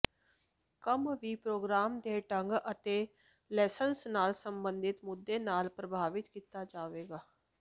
ਕੰਮ ਵੀ ਪ੍ਰੋਗਰਾਮ ਦੇ ਢੰਗ ਅਤੇ ਲਸੰਸ ਨਾਲ ਸਬੰਧਤ ਮੁੱਦੇ ਨਾਲ ਪ੍ਰਭਾਵਿਤ ਕੀਤਾ ਜਾਵੇਗਾ